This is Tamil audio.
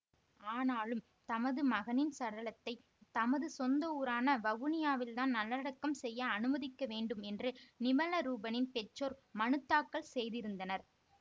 ஆனாலும் தமது மகனின் சடலத்தை தமது சொந்த ஊரான வவுனியாவில் தான் நல்லடக்கம் செய்ய அனுமதிக்க வேண்டும் என்று நிமலரூபனின் பெற்றோர் மனு தாக்கல் செய்திருந்தனர்